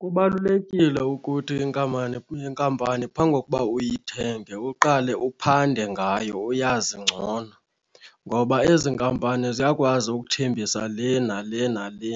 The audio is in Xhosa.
Kubalulekile ukuthi inkampani kwinkampani phambi kokuba uyithenge uqale uphande ngayo uyazi ngcono. Ngoba ezi nkampani ziyakwazi ukuthembisa le nale nale